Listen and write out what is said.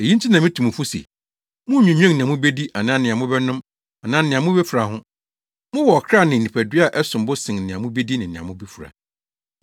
“Eyi nti na mitu mo fo se, munnnwinnwen nea mubedi anaa nea mobɛnom anaa nea mubefura ho. Mowɔ ɔkra ne nipadua a ɛsom bo sen nea mubedi ne nea mubefura.